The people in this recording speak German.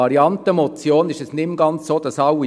Eine Motion würden nicht mehr alle unterstützen.